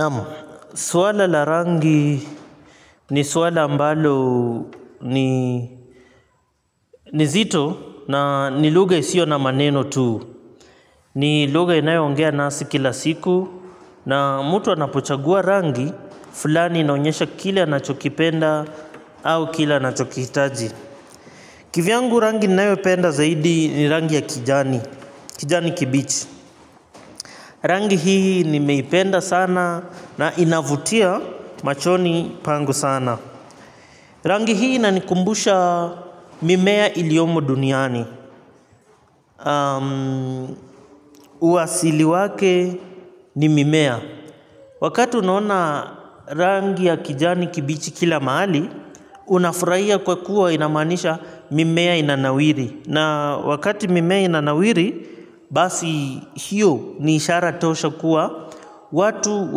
Naam, suala la rangi ni suala ambalo ni zito na ni lugha isiyo na maneno tu. Ni lugha inayoongea nasi kila siku na mtu anapochagua rangi, fulani inaonyesha kile anachokipenda au kile anachokihitaji. Kivyangu rangi ninayopenda zaidi ni rangi ya kijani, kijani kibichi. Rangi hii nimeipenda sana na inavutia machoni pangu sana. Rangi hii inanikumbusha mimea iliomo duniani. Uasili wake ni mimea. Wakati unaona rangi ya kijani kibichi kila mahali unafurahia kwa kuwa inamaanisha mimea inanawiri. Na wakati mimea inanawiri basi hiyo ni ishara tosha kuwa watu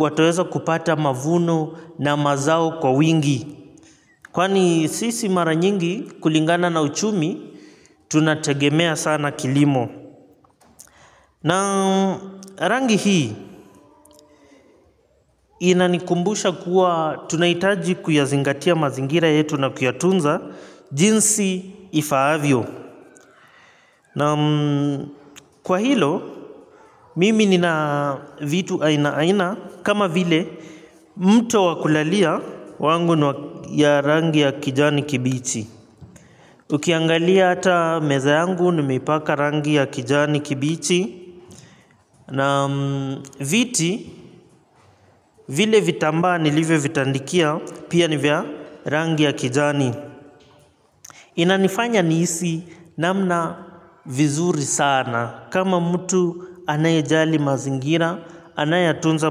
wataweza kupata mavuno na mazao kwa wingi. Kwani sisi mara nyingi kulingana na uchumi, tunategemea sana kilimo. Na rangi hii, inanikumbusha kuwa tunahitaji kuyazingatia mazingira yetu na kuyatunza jinsi ifaavyo. Naam kwa hilo, mimi ninavitu aina aina kama vile mto wa kulalia wangu ya rangi ya kijani kibichi. Ukiangalia hata meza yangu nimeipaka rangi ya kijani kibichi na viti vile vitambaa nilivyovitandikia pia ni vya rangi ya kijani. Inanifanya nihisi namna vizuri sana kama mtu anayejali mazingira, anayeyatunza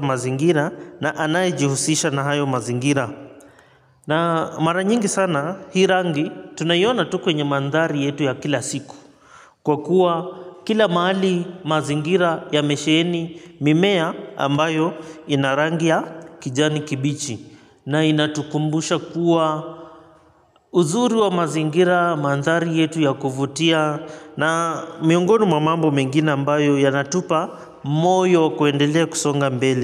mazingira na anaye jihusisha na hayo mazingira. Na mara nyingi sana hii rangi tunaioona tukwenye mandhari yetu ya kila siku kwa kuwa kila mahali mazingira ya mesheeni mimea ambayo ina rangi ya kijani kibichi na inatukumbusha kuwa uzuri wa mazingira mandhari yetu ya kufutia na miongoni mwa mambo mengine ambayo yanatupa moyo kuendelea kusonga mbele.